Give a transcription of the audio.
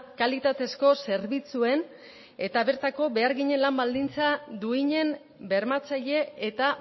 kalitatezko zerbitzuen eta bertako beharginen lan baldintza duinen bermatzaile eta